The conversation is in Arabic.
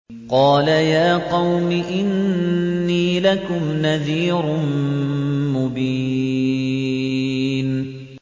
قَالَ يَا قَوْمِ إِنِّي لَكُمْ نَذِيرٌ مُّبِينٌ